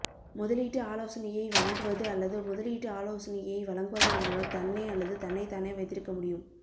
முதலீட்டு ஆலோசனையை வழங்குவது அல்லது முதலீட்டு ஆலோசனையை வழங்குவதன் மூலம் தன்னை அல்லது தன்னைத்தானே வைத்திருக்க முடியும்